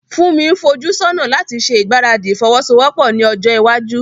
Funmi ń fojú sọ́nà láti ṣe ìgbáradì ìfọwọ́sowọ́pọ̀ ní ọjọ́ iwájú.